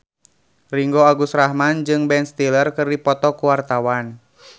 Ringgo Agus Rahman jeung Ben Stiller keur dipoto ku wartawan